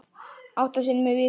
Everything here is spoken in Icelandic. Átta sinnum í viku.